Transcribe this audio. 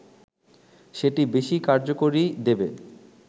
সেটি বেশি কার্যকরী দেবে